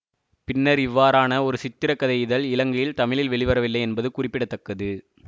பின்னர் இவ்வாறான ஒரு சித்திரக்கதை இதழ் இலங்கையில் தமிழில் வெளிவரவில்லை என்பது குறிப்பிட தக்கது